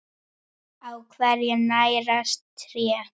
Á hverju nærast tré?